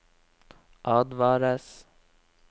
advares